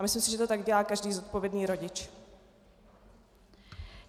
A myslím si, že to tak dělá každý zodpovědný rodič.